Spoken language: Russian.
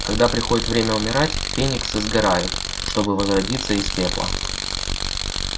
когда приходит время умирать фениксы сгорают чтобы возродиться из пепла